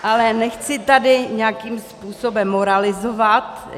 Ale nechci tady nějakým způsobem moralizovat.